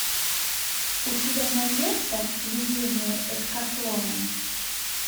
у тебя найдется видение эскафлона